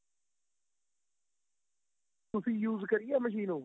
ਤੁਸੀਂ use ਕਰੀ ਆਂ machine ਉਹ